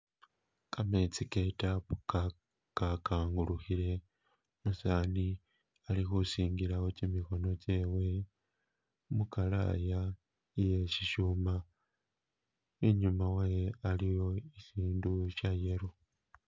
Kametsi ke tap ka kangulukhile, umusani alikhusingilawo kimikhono kyewe mukalaaya iye shishuma , inyuma wayo aliyo ishindu shya yellow.